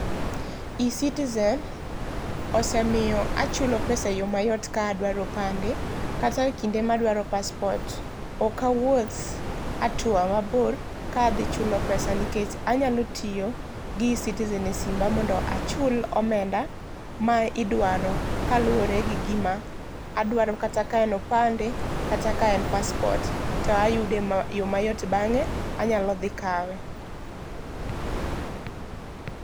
E-Citizen osemiyo achulo pesa e yoo mayot ka adwaro opande kata ekinde ma adwaro paspot ok awuoth atua mabor ka adhi chulo pesa nikech anyalo tiyo gi E-Citizen e simba mondo achul omenda ma idwaro kaluore gi gima adwaro kata ka en opande kata ka en paspot to ayude e yoo mayot bange anyalo dhi kawe